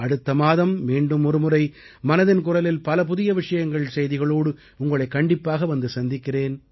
அடுத்த மாதம் மீண்டும் ஒருமுறை மனதின் குரலில் பல புதிய விஷயங்கள் செய்திகளோடு உங்களைக் கண்டிப்பாக வந்து சந்திக்கிறேன்